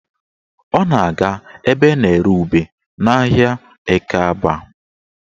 Ọ na-aga ebe a na-ere ube n'ahịa Ekeaba